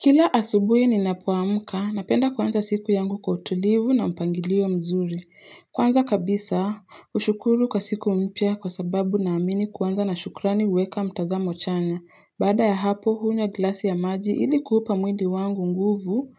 Kila asubuhi ninapoamka, napenda kuanza siku yangu kwa utulivu na mpangilio mzuri. Kwanza kabisa, hushukuru kwa siku mpya kwa sababu naamini kuanza na shukrani huweka mtazamo chanya. Baada ya hapo, hunywa glasi ya maji ili kuupa mwili wangu nguvu